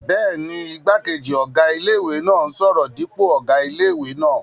Bẹ́ẹ̀ni, igbákejì ọ̀gá ilé-ìwé náà n sọ̀rọ̀ dípò ọ̀gá ilé-ìwé náà